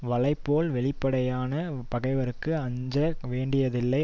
வளைப்போல் வெளிப்படையான பகைவர்க்கு அஞ்ச வேண்டியதில்லை